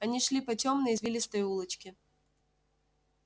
они шли по тёмной извилистой улочке